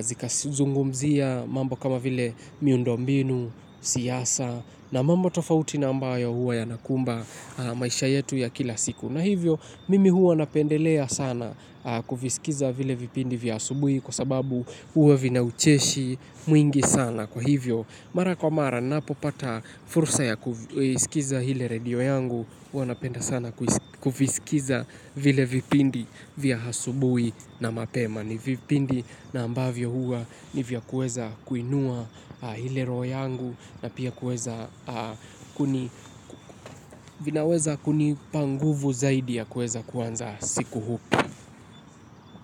zika zungumzia mambo kama vile miundombinu, siasa na mambo tofauti na ambayo huwa yanakumba maisha yetu ya kila siku. Na hivyo, mimi huwa napendelea sana kuvisikiza vile vipindi vya asubuhi kwa sababu huwa vinaucheshi mwingi sana kwa hivyo. Mara kwa mara, ninapo pata fursa ya kuisikiza ile radio yangu, huwa napenda sana kuvisikiza vile vipindi vya asubuhi na mapema. Ni vipindi na ambavyo huwa ni vya kuweza kuinua ile roho yangu na pia kuweza vinaweza kunipa nguvu zaidi ya kueza kuanza siku upya.